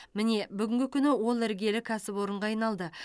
міне бүгінгі күні ол іргелі кәсіпорынға айналды